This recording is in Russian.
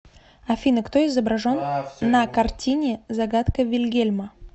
афина кто изображен на картине загадка вильгельма